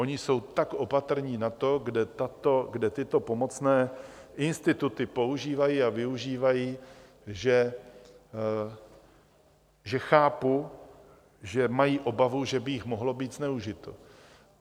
Oni jsou tak opatrní na to, kde tyto pomocné instituty používají a využívají, že chápu, že mají obavu, že by jich mohlo být zneužito.